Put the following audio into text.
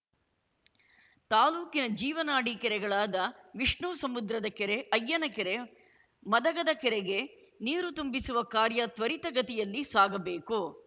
ತಾಲೂಕಿನ ಜೀವನಾಡಿ ಕೆರೆಗಳಾದ ವಿಷ್ಣುಸಮುದ್ರದ ಕೆರೆ ಅಯ್ಯನಕೆರೆ ಮದಗದಕೆರೆಗೆ ನೀರು ತುಂಬಿಸುವ ಕಾರ್ಯ ತ್ವರಿತಗತಿಯಲ್ಲಿ ಸಾಗಬೇಕು